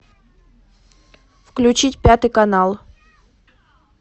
включить пятый канал